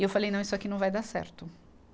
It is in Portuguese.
E eu falei, não, isso aqui não vai dar certo.